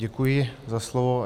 Děkuji za slovo.